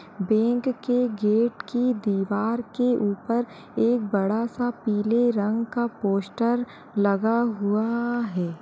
Bank के gate की दीवार के ऊपर एक बड़ा सा पीले रंग का पोस्टर लगा हुआ है।